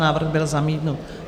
Návrh byl zamítnut.